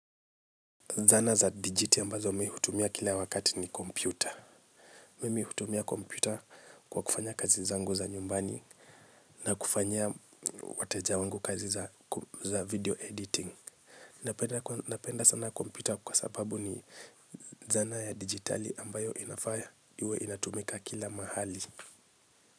Zana za dijiti ambazo mi hutumia kila wakati ni kompyuta. Mimi hutumia kompyuta kwa kufanya kazi zangu za nyumbani na kufanyia wateja wangu kazi za video editing. Napenda sana kompyuta kwa sababu ni zana ya digitali ambayo inafaa iwe inatumika kila mahali.